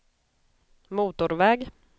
motorväg